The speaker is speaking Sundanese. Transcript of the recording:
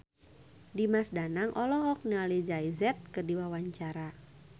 Dimas Danang olohok ningali Jay Z keur diwawancara